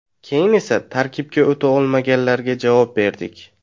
Keyin esa tarkibga o‘ta olmaganlarga javob berdik”.